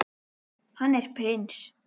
Hann er prins.